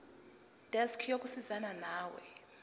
desk yokusizana nawe